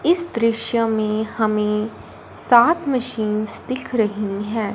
इस दृश्य में हमें सात मशीन्स दिख रही हैं।